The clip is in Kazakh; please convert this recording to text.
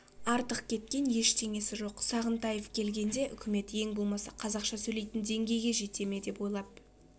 артық кеткен ештеңесі жоқ сағынтаев келгенде үкімет ең болмаса қазақша сөйлейтін деңгейге жете ме деп ойлап